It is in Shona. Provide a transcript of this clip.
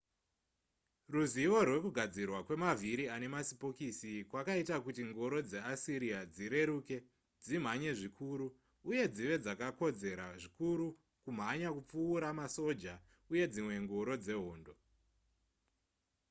ruzivo rwekugadzirwa kwemavhiri ane masipokisi kwakaita kuti ngoro dzeasiriya dzireruke dzimhanye zvikuru uye dzive dzakakodzera zvikuru kumhanya kupfuura masoja uye dzimwe ngoro dzehondo